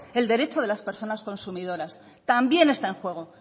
el derecho de las personas consumidoras también está en juego